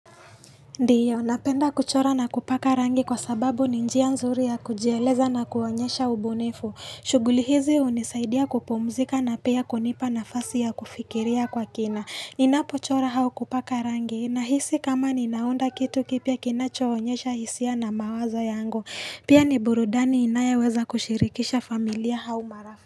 Ndiyo, napenda kuchora na kupaka rangi kwa sababu ni njia nzuri ya kujieleza na kuonyesha ubunifu. Shughuli hizi hunisaidia kupumzika na pia kunipa nafasi ya kufikiria kwa kina. Ninapo chora au kupaka rangi, nahisi kama ninaunda kitu kipya kinacho onyesha hisia na mawazo yangu. Pia ni burudani inayo weza kushirikisha familia au marafiki.